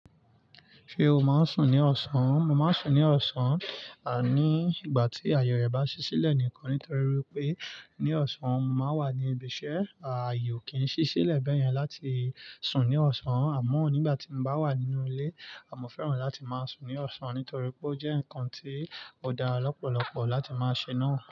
Ṣé o máa ń sùn ní ọ̀sán? Mo máa ń sùn ní ọ̀sán, àní ìgbà tí àye rẹ̀ bá ṣí sílẹ̀ nìkan nítorí wipé ní ọ̀sán mo máa ń wà ní ibi iṣẹ́. Ààye o kì í n ṣí sílẹ̀ bẹ́ẹ̀ yẹn láti sùn ní ọ̀sán àmọ́ nígbà tí mo bá wà nínú ilé, àmo fẹ́ràn láti máa sùn ní ọ̀sán nítorí pé ó jẹ́ ǹkan tó dá lọ́pọ̀lọpọ̀ láti máa ṣe náà.